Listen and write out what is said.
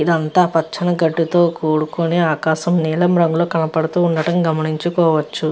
ఇది అంతా పచ్చని గడ్డితో కూడుకుని ఆకాశం నీలం రంగులో కనబడుతూ ఉండటం గమనించుకోవచ్చు.